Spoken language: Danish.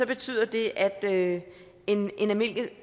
betyder det at en